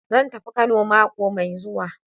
Zan tafi Kano mako mai zuwa.